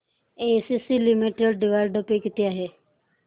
ACC limited dividend pay किती आहे